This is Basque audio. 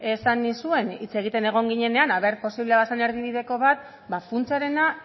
esan nizuen hitz egiten egon ginenean ea posible zen erdibideko bat ba funtsarena